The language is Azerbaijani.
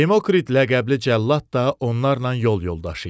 Demokrit ləqəbli cəllad da onlarla yol yoldaşı idi.